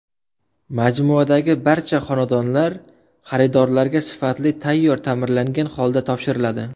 Majmuadagi barcha xonadonlar xaridorlarga sifatli tayyor ta’mirlangan holda topshiriladi.